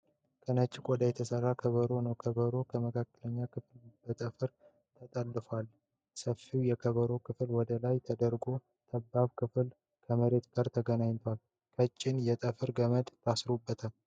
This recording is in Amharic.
ከነጭ ቆዳ የተሰራ ከበሮ ነዉ። የከበሮዉን የመካከል ክፍል በጠፍር ተጠልፏል። ሰፊዉ የከበሮ ክፍል ወደ ላይ ተደርጓል። ጠባቡ ክፍል ከመሬቱ ጋር ተገናኝቷል። ቀጭን የጠፍር ገመድ ታስሮበታል።